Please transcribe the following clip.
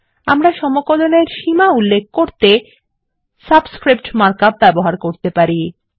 আমরা সমকলন এর সীমা উল্লেখ করতে সাবস্ক্রিপ্ট মার্ক আপ ব্যবহার করতে পারি